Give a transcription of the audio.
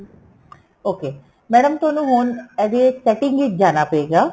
okay madam ਤੁਹਾਨੂੰ ਹੁਣ ਇਹਦੇ setting ਵਿੱਚ ਜਾਣਾ ਪਏਗਾ